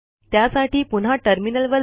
त्यासाठी पुन्हा टर्मिनल वर जा